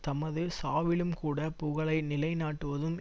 தமது சாவிலும்கூடப் புகழை நிலை நாட்டுவதும்